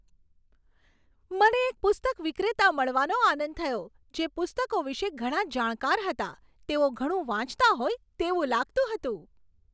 મને એક પુસ્તક વિક્રેતા મળવાનો આનંદ થયો, જે પુસ્તકો વિશે ઘણા જાણકાર હતા. તેઓ ઘણું વાંચતા હોય તેવું લાગતું હતું.